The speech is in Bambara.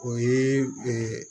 O ye